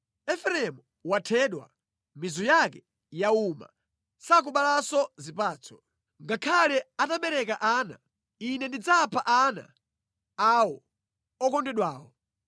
Efereimu wathedwa, mizu yake yauma sakubalanso zipatso. Ngakhale atabereka ana, Ine ndidzapha ana awo okondedwawo.”